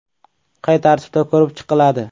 Qay tartibda ko‘rib chiqiladi?